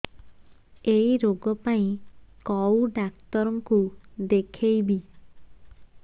ଏଇ ରୋଗ ପାଇଁ କଉ ଡ଼ାକ୍ତର ଙ୍କୁ ଦେଖେଇବି